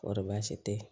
Kɔrɔbaasi tɛ